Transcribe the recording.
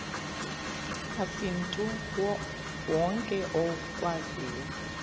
asimntu wonke okwaziyo